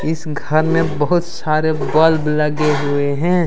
इस घर में बहुत सारे बल्ब लगे हुए हैं।